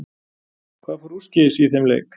Hvað fór úrskeiðis í þeim leik?